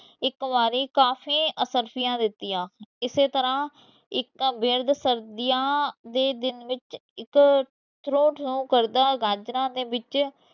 ਇਕ ਬਾਰ ਕਾਫੀ ਅਸਰਫ਼ੀਆਂ ਦਿਤੀਆਂ ਇਸੇ ਤਰਾਹ ਇਕ ਸਰਦੀਆਂ ਦੇ ਦਿਨ ਵਿੱਚ ਇਕ ਤਰੋ ਥਰੋ ਕਰਦਾ ਗਾਨਣਾ ਦੇ ਵਿੱਚ